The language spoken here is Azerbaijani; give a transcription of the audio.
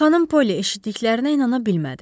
Xanım Poli eşitdiklərinə inana bilmədi.